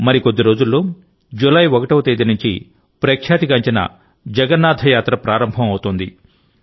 మరికొద్ది రోజుల్లో జూలై 1వ తేదీ నుంచి ప్రఖ్యాతిగాంచిన జగన్నాథ యాత్ర ప్రారంభం అవుతోంది